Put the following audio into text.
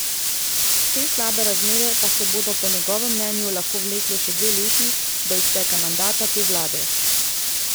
Te slabe razmere pa se bodo po njegovem mnenju lahko vlekle še dve leti, do izteka mandata te vlade.